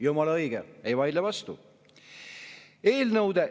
" Jumala õige, ei vaidle vastu!